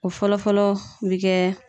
O fɔlɔ fɔlɔ bɛ kɛ